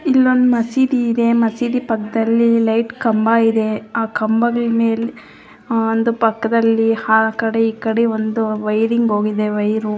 ಇಲ್ಲೊಂದು ಮಸೀದಿ ಇದೆ ಈ ಮಸೀದಿ ಪಕ್ಕದಲ್ಲಿ ಲೈಟ್ ಕಂಬ ಇದೆ ಆ ಕಂಬದ ಮೇಲೆ ಒಂದ್ ಪಕ್ಕದಲ್ಲಿ ಆಕಡೆ ಈ ಕಡೆ ಒಂದ್ ವೈರಿಂಗ್ ಹೋಗಿದೆ ವೈರು --